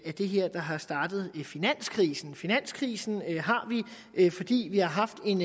det her der har startet finanskrisen finanskrisen har vi fordi vi har haft en